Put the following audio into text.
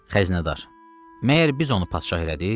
Xəzinədar: “Məyər biz onu padşah elədik?